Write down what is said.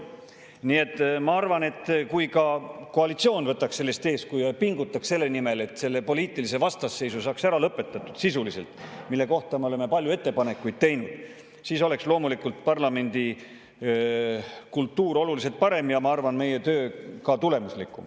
Nii et ma arvan, et kui ka koalitsioon võtaks sellest eeskuju ja pingutaks selle nimel, et selle poliitilise vastasseisu saaks ära lõpetatud sisuliselt, mille kohta me oleme palju ettepanekuid teinud, siis oleks loomulikult parlamendi kultuur oluliselt parem ja ma arvan, et meie töö ka tulemuslikum.